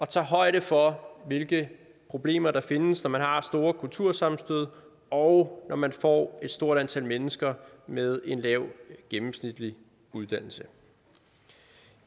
tager højde for hvilke problemer der findes når man har store kultursammenstød og når man får et stort antal mennesker med et lavt gennemsnitligt uddannelsesniveau